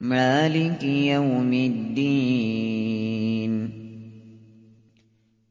مَالِكِ يَوْمِ الدِّينِ